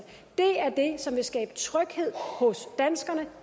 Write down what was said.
det er det som vil skabe tryghed hos danskerne